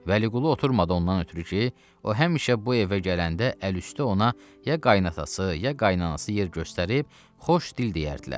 Vəliqulu oturmadı ondan ötrü ki, o həmişə bu evə gələndə əl üstü ona ya qayınatası, ya qaynanası yer göstərib xoş dil deyərdilər.